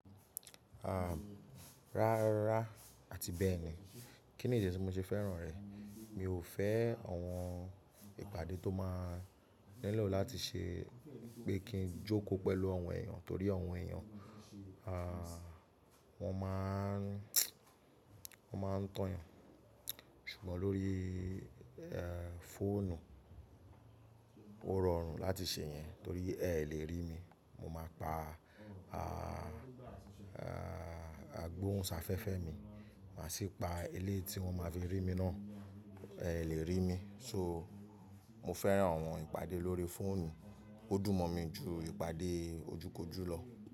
À, rárá àti bẹ́ẹ̀ni. Kí ni idi tí mo ṣe fẹ́ràn rẹ̀? Mi ò fẹ́ àwọn ìpàdé tó máa nílò láti ṣe pé kí n jókòó pẹ̀lú àwọn èèyàn torí àwọn èèyàn, à, wọ́n máa ń, wọ́n máa ń tàn yàn. Ṣùgbọ́n lórí, e, fóònù ó rọrùn láti ṣe yẹn torí ẹ lè rí mi. Mo máa pa, a, a, agbóhùnsáfẹ́fẹ́ mi, mà sì pa ilé tí wọ́n ma fi rí mi náà, ẹ lè rí mi. So mo fẹ́ràn àwọn ìpàdé lórí fóònù. Ó dùn mọ́ mi ju ìpàdé ojú kojú lọ.